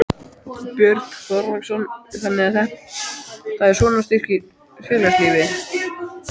Björn Þorláksson: Þannig að þetta svona styrkir félagslífið?